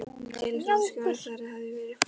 Telur þú að skörð þeirra hafi verið fyllt?